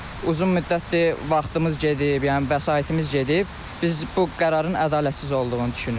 Uzun müddətdir vaxtımız gedib, yəni vəsaitimiz gedib, biz bu qərarın ədalətsiz olduğunu düşünürük.